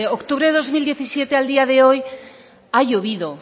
octubre de dos mil diecisiete al día de hoy ha llovido